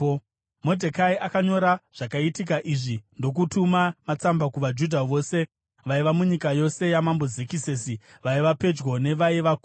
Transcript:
Modhekai akanyora zvakaitika izvi, ndokutuma matsamba kuvaJudha vose vaiva munyika yose yaMambo Zekisesi, vaiva pedyo nevaiva kure,